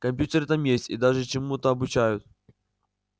компьютеры там есть и даже чему-то обучают